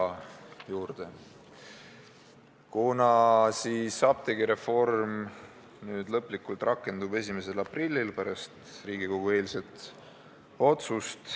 Pärast Riigikogu eilset otsust on selge, et apteegireform rakendub lõplikult 1. aprillil.